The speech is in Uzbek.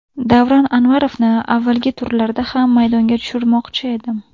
Davron Anvarovni avvalgi turlarda ham maydonga tushirmoqchi edim.